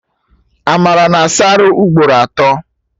Amara na-asa arụ ugboro atọ